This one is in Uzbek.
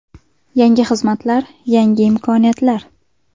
Yangi xizmatlar, yangi imkoniyatlar!